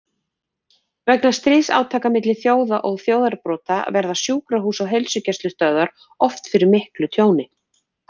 Vegna stríðsátaka milli þjóða og þjóðarbrota verða sjúkrahús og heilsugæslustöðvar oft fyrir miklu tjóni.